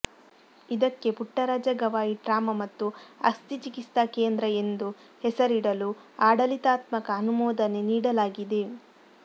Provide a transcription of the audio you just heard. ಇದಕ್ಕೆ ಪುಟ್ಟರಾಜ ಗವಾಯಿ ಟ್ರಾಮ ಮತ್ತು ಅಸ್ಥಿ ಚಿಕಿತ್ಸಾ ಕೇಂದ್ರ ಎಂದು ಹೆಸರಿಡಲು ಆಡಳಿತಾತ್ಮಕ ಅನುಮೋದನೆ ನೀಡಲಾಗಿದೆ